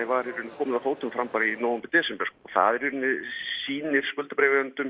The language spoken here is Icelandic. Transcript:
var í rauninni komið af fótum fram bara í nóvember desember sko það í rauninni sýnir